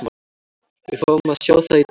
Við fáum að sjá það í dag.